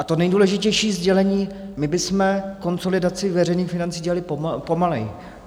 A to nejdůležitější sdělení - my bychom konsolidaci veřejných financí dělali pomaleji.